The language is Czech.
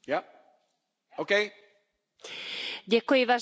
Vážená paní poslankyně, já jsem vás pozorně poslouchala.